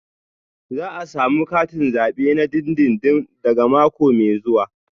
Za a samu katin zabe na dindindin daga mako mai zuwa